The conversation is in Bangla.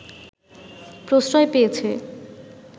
প্রশ্রয় পেয়েছে